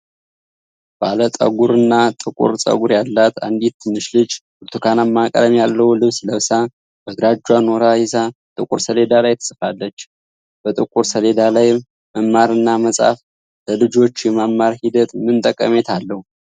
ባለ ጠጉርና ጥቁር ፀጉር ያላት አንዲት ትንሽ ልጅ ብርቱካናማ ቀለም ያለው ልብስ ለብሳ በግራ እጇ ኖራ ይዛ ጥቁር ሰሌዳ ላይ ትጽፋለች። በጥቁር ሰሌዳ ላይ መማርና መጻፍ ለልጆች የመማር ሂደት ምን ጠቀሜታ አለው?